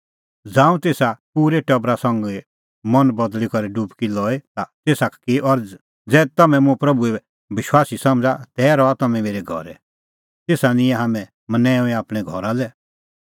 ज़ांऊं तेसा पूरै टबरा संघी मन बदल़ी करै डुबकी लई ता तेसा की अरज़ कि ज़ै तम्हैं मुंह प्रभूए विश्वासी समझ़ा तै रहा तम्हैं मेरै घरै तेसा निंयैं हाम्हैं मनैंऊंईं आपणैं घरा लै